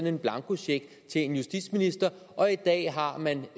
en blankocheck til en justitsminister og i dag har man